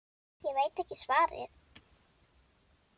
Ég veit ekki svarið.